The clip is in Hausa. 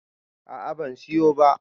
a a ban siyo ba